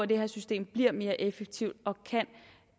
det her system mere effektivt og kan